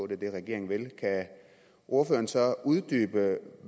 det regeringen vil kan ordføreren så uddybe